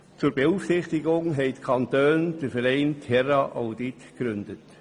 Zur Beaufsichtigung haben die Kantone den Verein TerrAudit gegründet.